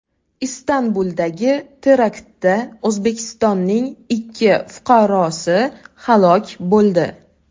Istanbuldagi teraktda O‘zbekistonning ikki fuqarosi halok bo‘ldi.